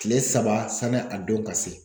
Tile saba sanni a don ka se